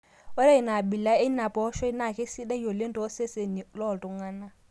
Ore ina abila eina pooshoi naa keisidai oleng too seseni loo iltung'ana.